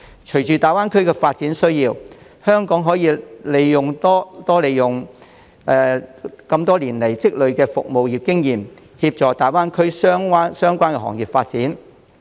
隨着大灣區發展，香港可利用多年來積累的服務業經驗，協助大灣區相關行業發展。